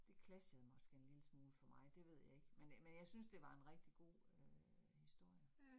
Det clashede måske en lille smule for mig, det ved jeg ikke, men øh men jeg synes, det var en rigtig god øh historie